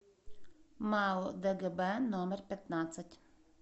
мау дгб номер пятнадцать